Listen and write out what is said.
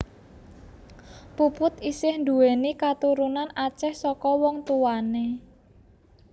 Puput isih nduwéni katurunan Aceh saka wong tuwané